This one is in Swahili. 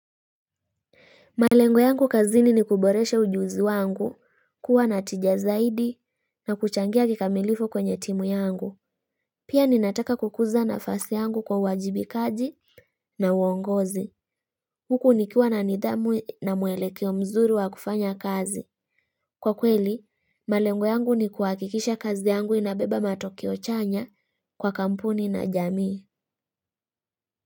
Malengo yangu kazini ni kuboresha ujuzi wangu kuwa na tija zaidi na kuchangia kikamilifu kwenye timu yangu. Pia ninataka kukuza nafasi yangu kwa uwajibikaji na uongozi. Huku nikiwa na nidhamu na mwelekeo mzuri wa kufanya kazi. Kwa kweli, malengo yangu ni kuhakikisha kazi yangu inabeba matokeo chanya kwa kampuni na jamii.